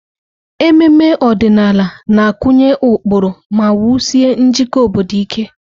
Ememe ọdịnala na-akụnye ụkpụrụ ma wusie njikọ obodo ike.